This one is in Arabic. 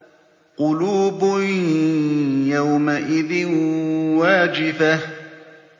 قُلُوبٌ يَوْمَئِذٍ وَاجِفَةٌ